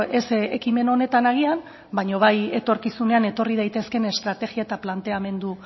ez ekimen honetan agian baina bai etorkizunean etorri daitezkeen estrategia eta planteamendu